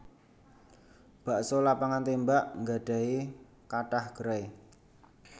Bakso Lapangan Tembak nggadhahi kathah gerai